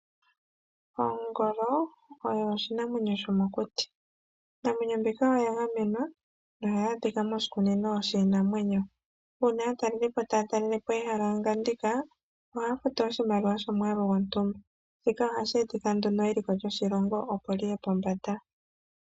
Ongolo oyo oshinamwenyo shomokuti. Iinamwenyo mbika oya gamenwa naunene ohayi adhika moshikunino shiinamwenyo. Uuna aatalelipo taya talelepo ehala ngandika, ohaya futu oshimaliwa shomwaalu gontumba. Shika ohashi etitha eliko lyoshilongo liye pombanda.